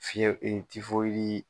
tifoyidii